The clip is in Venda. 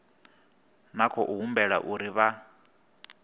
na khou humbulela uri vha